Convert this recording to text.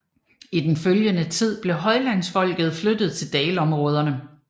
I den følgende tid blev højlandsfolket flyttet til dalområderne